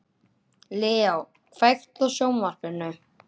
Leo, kveiktu á sjónvarpinu.